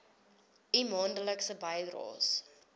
u maandelikse bydraes